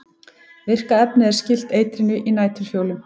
virka efnið er skylt eitrinu í næturfjólum